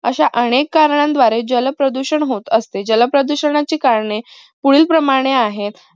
अश्या अनेक कारणांद्वारे जल प्रदूषण होत असते. जल प्रदूषणाची करणे पुढील प्रमाणे आहेत.